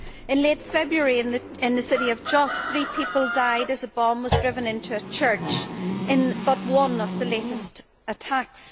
In late February in the city of Jos, three people died as a bomb was driven into a church in but one of the latest attacks.